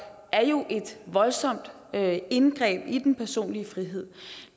er et voldsomt indgreb i den personlige frihed